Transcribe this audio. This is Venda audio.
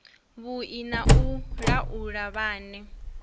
vhui na u laula vhane